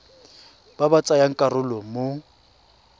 ba ba tsayang karolo mo